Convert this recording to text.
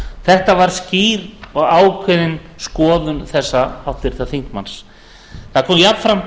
þetta var skýr og ákveðin skoðun þessa háttvirts þingmanns það kom jafnframt